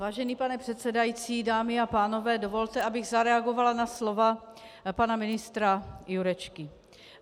Vážený pane předsedající, dámy a pánové, dovolte, abych zareagovala na slova pana ministra Jurečky.